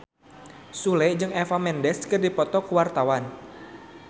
Sule jeung Eva Mendes keur dipoto ku wartawan